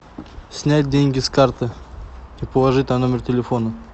снять деньги с карты и положить на номер телефона